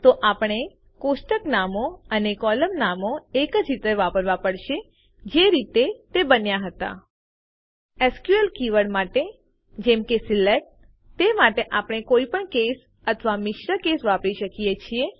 તો આપણે કોષ્ટક નામો અને કોલમ નામો એજ રીતે વાપરવાં પડશે જે રીતે તે બનાવ્યાં હતા એસક્યુએલ કીવર્ડ માટે જેમકે સિલેક્ટ તે માટે આપણે કોઈપણ કેસ અથવા મિશ્ર કેસ વાપરી શકીએ છીએ